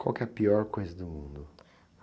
Qual é a pior coisa do mundo?